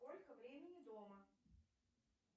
сколько времени дома